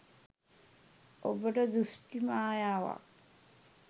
ඔබට දෘෂ්ටි මායාවක්